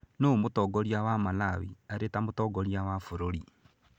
Nũũ mũtongoria wa Malawi arĩ ta Mũtongoria wa bũrũri?